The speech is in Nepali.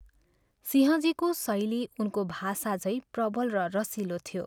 सिंहजीको शैली उनको भाषा झैँ प्रबल र रसिलो थियो।